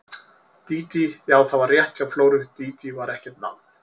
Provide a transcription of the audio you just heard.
Dídí, já, það var rétt hjá Flóru, Dídí var ekkert nafn.